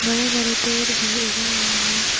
बरे बरे पेर भी उगा हुआ है।